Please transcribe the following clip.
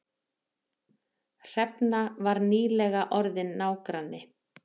Hrefna var nýlega orðin nágranni